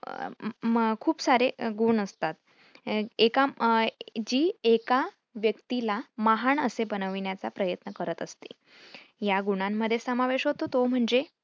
खूप सारे गुण असतात. एका जी एका व्यक्तीला महान असे बनविण्याचा प्रयत्न करत असते. या गुणांमध्ये समावेश होतो तो म्हणजे